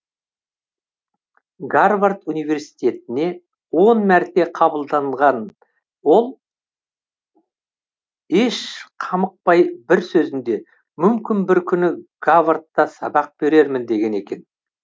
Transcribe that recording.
гарвард университетіне он мәрте қабылданған ол еш қамықпай бір сөзінде мүмкін бір күні гавардта сабақ берермін деген екен